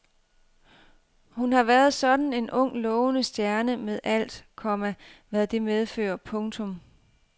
Hun har været sådan en ung lovende stjerne med alt, komma hvad det medfører. punktum